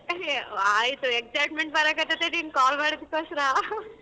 ಹ್ ಆಯ್ತು excitement ಬರಕ್ ಹತ್ತೇತೆ ನೀನ್ call ಮಾಡಿದಿಕ್ಕೋಸ್ಕರ .